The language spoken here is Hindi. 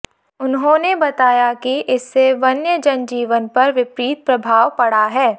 उन्होंने बताया कि इससे वन्य जनजीवन पर विपरीत प्रभाव पड़ा है